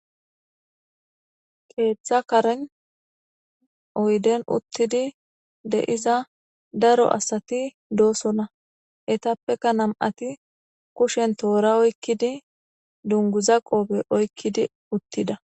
Keeththa karen oyden uththidi de7iza daro asathi doosona;ethappekka nam7athi kushen thoora oykkidi dungguza qophe oykkidi uththida.